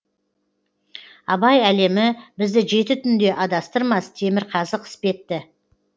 абай әлемі бізді жеті түнде адастырмас темірқазық іспетті